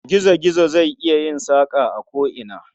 Gizo-gizo zai iya yin saƙa a ko'ina.